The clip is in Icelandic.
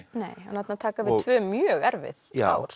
þarna taka við tvö mjög erfið ár